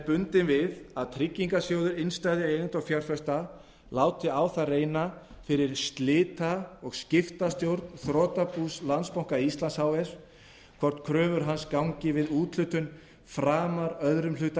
bundin við að tryggingarsjóður innstæðueigenda og fjárfesta láti á það reyna fyrir slita eða skiptastjórn þrotabús landsbanka íslands h f hvort kröfur hans gangi við úthlutun framar öðrum hluta